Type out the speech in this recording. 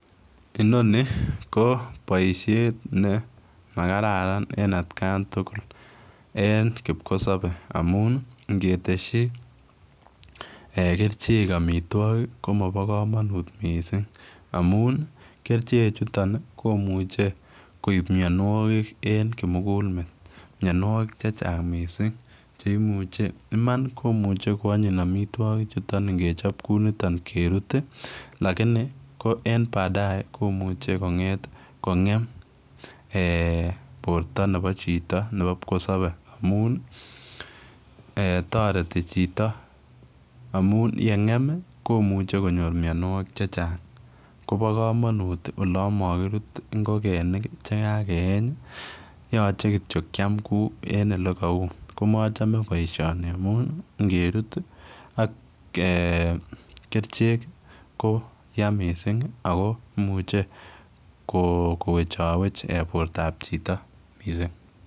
Inoni ko baishet nemakararan en atkai tugul en kikosabe amun ingeteshi kerchek amitwagik komaba kamanut mising amun keljin kerchek chuton komuche koib mianwagik en kimugul met mianwagik mising cheimuche Iman koanyin amitwagik chuton ngechop Kouniton gerut lakini ko en badae komuche konget kongem en borta Nebo Chito Nebo kipkosabe amun tareti Chito amun yengem kumuch konyor mianwagik chechang Koba kamanut olon makirut ingokenik icheken chekakeyeny yache kityo Kiam Ku choton en yelekau ako machame keyeshob ngerut AK kerchek ko ya mising ako muche kowechawech borta ab Chito mising